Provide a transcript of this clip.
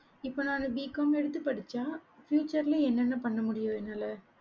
இப்ப நான் BCOM எடுத்து படிச்சேன் future என்ன என்ன பண்ண முடியும் என்னால